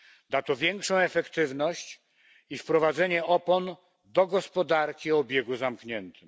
Da to większą efektywność i wprowadzenie opon do gospodarki o obiegu zamkniętym.